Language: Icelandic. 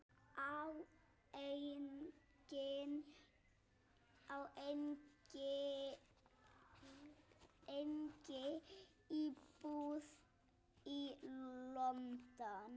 Á einnig íbúð í London.